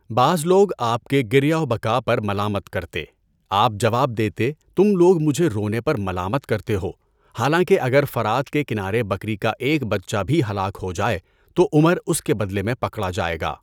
بعض لوگ آپ کے گریہ و بکا پر ملامت کرتے، آپ جواب دیتے تم لوگ مجھے رونے پر ملامت کرتے ہو، حالانکہ اگر فرات کے کنارے بکری کا ایک بچہ بھی ہلاک ہو جائے تو عمر اس کے بدلے میں پکڑا جائے گا۔